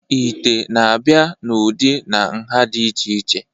ite na-abịa n'ụdị na nha dị iche iche